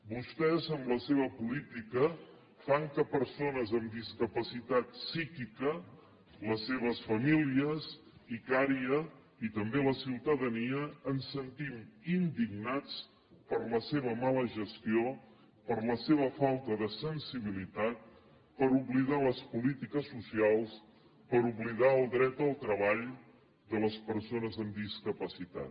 vostès amb la seva política fan que persones amb discapacitat psíquica les seves famílies icària i també la ciutadania ens sentim indignats per la seva mala gestió per la seva falta de sensibilitat per oblidar les polítiques socials per oblidar el dret al treball de les persones amb discapacitat